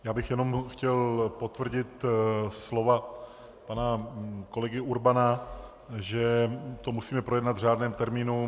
Já bych jenom chtěl potvrdit slova pana kolegy Urbana, že to musíme projednat v řádném termínu.